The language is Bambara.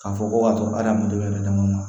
K'a fɔ ko ka to hadamaden yɛrɛ dama ma